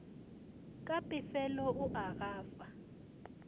ka pefelo o a gafa